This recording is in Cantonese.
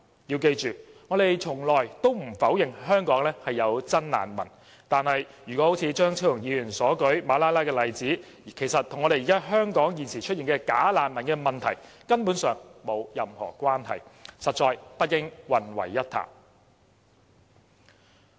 要記住，我們從來不否認香港有真難民，但張超雄議員所舉的馬拉拉例子，其實與香港現時出現的"假難民"問題根本上沒有任何關係，實在不應混為一談。